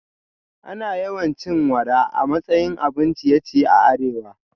Ana yawan cin wara a matsayin abun ciye-ciye a arewa